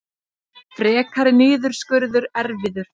Frekari niðurskurður erfiður